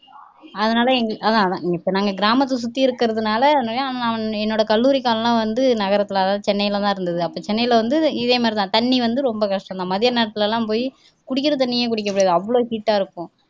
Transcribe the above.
அதனால எங்க அதான் அதான் இப்ப நாங்க கிராமத்தை சுத்தி இருக்கிறதுனால என்னோட கல்லூரி காலம் எல்லாம் வந்து நகரத்துலதான் அதாவது சென்னைல தான் இருந்தது அப்போ சென்னைல வந்து இதே மாதிரித்தான் தண்ணி வந்து ரொம்ப கஷ்டம்தான் மதிய நேரத்துல எல்லாம் போய் குடிக்கிற தண்ணியே குடிக்க முடியாது அவ்வளவு heat ஆ இருக்கும்